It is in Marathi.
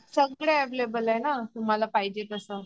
सगळे अवैलेबल आहे ना तुम्हाला पाहिजे तसं